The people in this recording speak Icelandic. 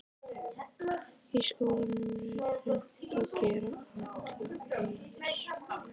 Í skólum er reynt að gera alla eins.